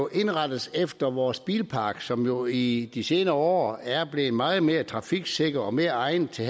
indrettes efter vores bilpark som jo i de senere år er blevet meget mere trafiksikker og mere egnet til